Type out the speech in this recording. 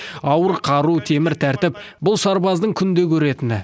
ауыр қару темір тәртіп бұл сарбаздың күнде көретіні